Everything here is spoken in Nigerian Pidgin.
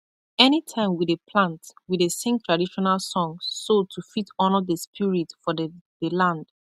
anytime we dey plant we dey sing traditional song so to fit honour the spirit for the the land